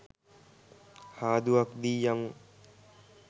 හාදුවක් දී යමු.